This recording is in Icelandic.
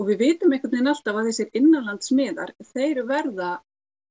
við vitum einhvern veginn alltaf að þessir innanlands miðar þeir verða